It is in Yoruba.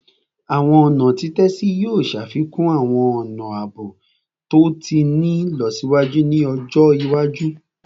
Awọn ọna titẹsi yoo ṣafikun awọn ọna aabo to ti ni ilọsiwaju ni ọjọ iwaju